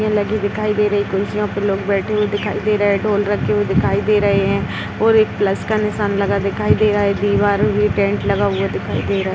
लगी दिखाई दे रही हैं कुर्सियां पे लोग बैठे हुए दिखाई दे रहे हैं ढोल रखे हुए दिखाई दे रहे हैं और एक प्लस का निशान लगा दिखाई दे रहा है दीवारों पर टेन्ट लगा दिखाई दे रहा है।